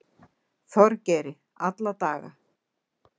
Þorgeiri alla daga.